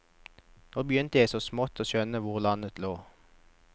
Nå begynte jeg så smått og skjønne hvor landet lå.